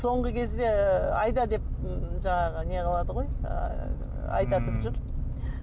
соңғы кезде ы айда деп м жаңағы не қылады ғой айдатып жүр